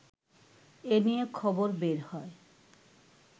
এ নিয়ে খবর বের হয়